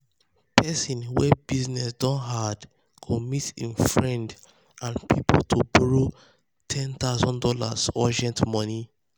person wey business don hard go meet im friends and people to borrow one thousand dollars0 urgent money.